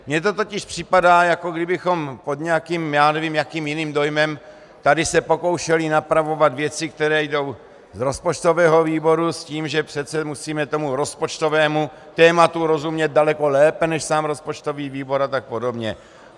Mně to totiž připadá, jako kdybychom pod nějakým, já nevím, jakým jiným dojmem se tady pokoušeli napravovat věci, které jdou z rozpočtového výboru, s tím, že přece musíme tomu rozpočtovému tématu rozumět daleko lépe než sám rozpočtový výbor a tak podobně.